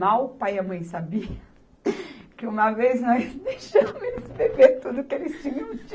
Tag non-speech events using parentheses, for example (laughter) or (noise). Mal o pai e a mãe sabiam (laughs) que uma vez nós deixamos eles beberem (laughs) tudo que eles tinham di